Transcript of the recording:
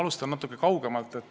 Ma alustan natuke kaugemalt.